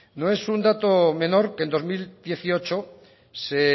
no es un dato menor que en dos mil dieciocho se